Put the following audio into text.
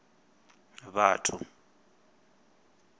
vhathu